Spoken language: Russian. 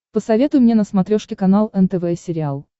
посоветуй мне на смотрешке канал нтв сериал